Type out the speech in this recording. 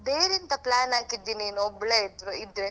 ಬೇರೆ ಎಂತ plan ಹಾಕಿದ್ದು ನೀನು ಒಬ್ಳೆ ಇದ್ರೆ.